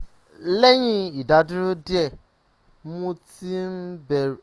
lẹ́yìn ìdádúró díẹ̀ um mo ti bẹ̀rẹ̀ sí i um tún wọn um lò déédé láti ìjẹta